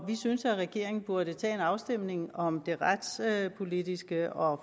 vi synes at regeringen burde tage en afstemning om det retspolitiske og